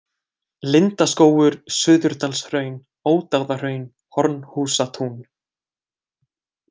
Lindaskógur, Suðurdalshraun, Ódáðahraun, Hornhúsatún